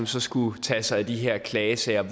som skulle tage sig af de her klagesager